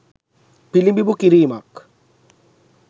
පිළිබිඹු කිරීමක්.